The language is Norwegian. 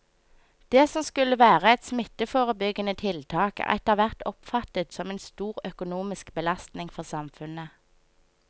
Det som skulle være et smitteforebyggende tiltak er etterhvert oppfattet som en stor økonomisk belastning for samfunnet.